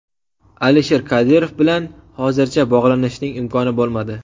Alisher Kadirov bilan hozircha bog‘lanishning imkoni bo‘lmadi.